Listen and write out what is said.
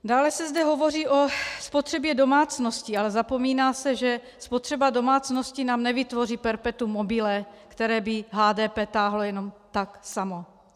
Dále se zde hovoří o spotřebě domácností, ale zapomíná se, že spotřeba domácností nám nevytvoří perpetuum mobile, které by HDP táhlo jenom tak samo.